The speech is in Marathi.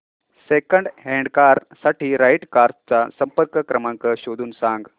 सेकंड हँड कार साठी राइट कार्स चा संपर्क क्रमांक शोधून सांग